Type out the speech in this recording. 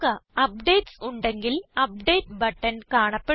updates ഉണ്ടെങ്കിൽ update button കാണപ്പെടുന്നു